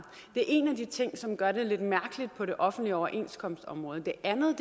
det er en af de ting som gør det lidt mærkeligt på det offentlige overenskomstområde det andet